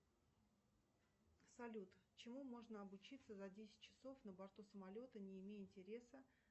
салют чему можно обучиться за десять часов на борту самолета не имея интереса